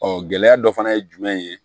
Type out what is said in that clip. gɛlɛya dɔ fana ye jumɛn ye